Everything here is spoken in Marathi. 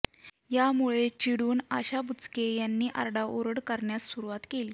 यामुळे चिडून आशा बुचके यांनी आरडाओरड करण्यास सुरुवात केली